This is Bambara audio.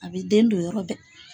A bɛ den don yɔrɔ bɛɛ.